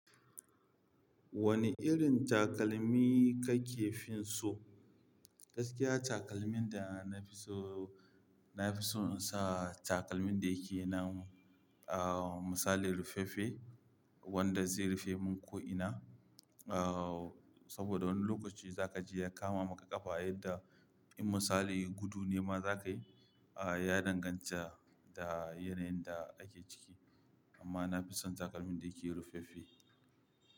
Wane irin takalmi kake fin so? Gaskiya takalmin da na fi so, na fi so in sa takalmin da yake nan, ah, misali rufaffe wanda zai rufe mun ko'ina. Ah, saboda wani lokaci za kaji ya kama maka ƙafa yadda in misali gudu ne ma zakayi, ah, ya danganta da yanayin da ake ciki. Amma na fi son takalmin da yake rufaffe.